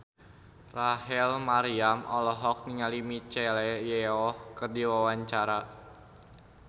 Rachel Maryam olohok ningali Michelle Yeoh keur diwawancara